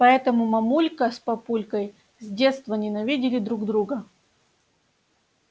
поэтому мамулька с папулькой с детства ненавидели друг друга